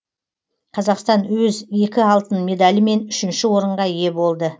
қазақстан өз екі алтын медальімен үшінші орынға ие болды